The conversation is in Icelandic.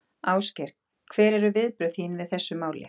Ásgeir: Hver eru viðbrögð þín við þessu máli?